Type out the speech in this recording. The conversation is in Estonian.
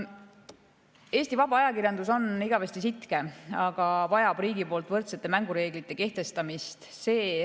Eesti vaba ajakirjandus on igavesti sitke, aga vajab riigi poolt võrdsete mängureeglite kehtestamist.